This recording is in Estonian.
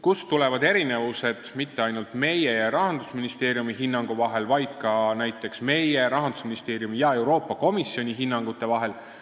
Kust tulevad erinevused, kusjuures mitte ainult meie ja Rahandusministeeriumi hinnangu vahel, vaid ka näiteks meie, Rahandusministeeriumi ja Euroopa Komisjoni hinnangute vahel?